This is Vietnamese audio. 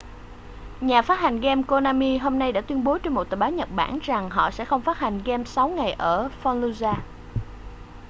nhà phát hành game konami hôm nay đã tuyên bố trên một tờ báo nhật bản rằng họ sẽ không phát hành game sáu ngày ở fallujah